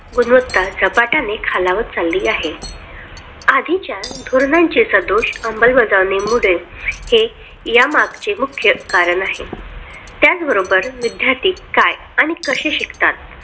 गुणवत्ता झपाट्याने खालावत चालली आहे. आधीच्या धोरणांचे सदोष अंमलबजावणीमुळे हे यामागचे मुख्य कारण आहे त्याचबरोबर विद्यार्थी काय आहे कसे शिकतात